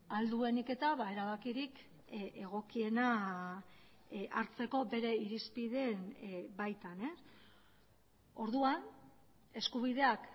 ahal duenik eta erabakirik egokiena hartzeko bere irizpideen baitan orduan eskubideak